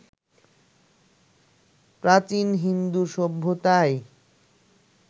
প্রাচীন হিন্দু সভ্যতায়